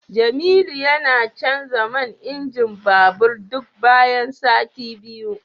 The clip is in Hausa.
Jemilu yana canza man injin babur duk bayan sati biyu